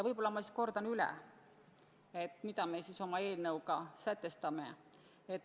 Võib-olla ma siis kordan üle, mida me oma eelnõuga ette paneme.